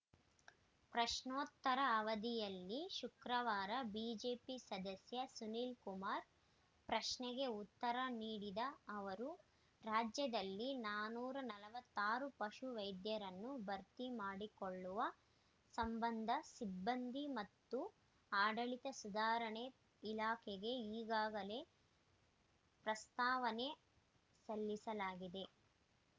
ಪ್ರಶ್ನೋತ್ತರ ಅವಧಿಯಲ್ಲಿ ಶುಕ್ರವಾರ ಬಿಜೆಪಿ ಸದಸ್ಯ ಸುನೀಲ್‌ ಕುಮಾರ್‌ ಪ್ರಶ್ನೆಗೆ ಉತ್ತರ ನೀಡಿದ ಅವರು ರಾಜ್ಯದಲ್ಲಿ ನಾನೂರ ನಲವತ್ತಾರು ಪಶು ವೈದ್ಯರನ್ನು ಭರ್ತಿ ಮಾಡಿಕೊಳ್ಳುವ ಸಂಬಂಧ ಸಿಬ್ಬಂದಿ ಮತ್ತು ಆಡಳಿತ ಸುಧಾರಣೆ ಇಲಾಖೆಗೆ ಈಗಾಗಲೇ ಪ್ರಸ್ತಾವನೆ ಸಲ್ಲಿಸಲಾಗಿದೆ